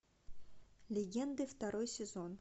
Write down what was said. легенды второй сезон